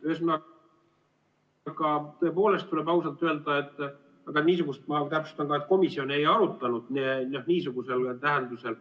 Ühesõnaga, tuleb ausalt öelda, ma täpsustan, et ka komisjon seda ei arutanud niisuguses tähenduses.